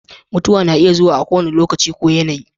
Mutuwa na iya zuwa a kowane lokaci ko yanayi.